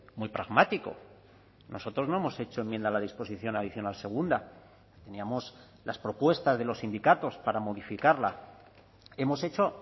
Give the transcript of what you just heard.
muy pragmático nosotros no hemos hecho enmienda a la disposición adicional segunda teníamos las propuestas de los sindicatos para modificarla hemos hecho